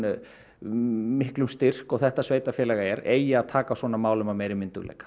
miklum styrk og þetta sveitarfélag er eigi að taka á svona málum af meiri myndugleika